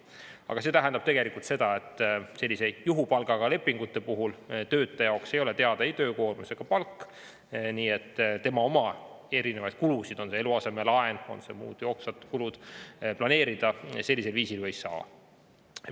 Aga see tähendab tegelikult seda, et selliste juhupalgaga lepingute puhul töötaja jaoks ei ole teada ei töökoormus ega palk, nii et tema oma erinevaid kulusid, on see eluasemelaen, on need muud jooksvad kulud, planeerida sellisel viisil ei saa.